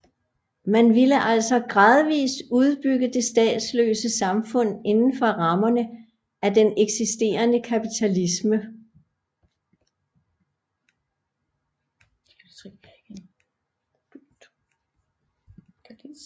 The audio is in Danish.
Man ville altså gradvist udbygge det statsløse samfund indenfor rammerne af den eksisterende kapitalisme